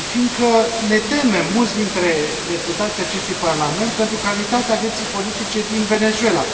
fiindcă ne temem, mulți dintre deputații acestui Parlament, pentru calitatea vieții politice din Venezuela.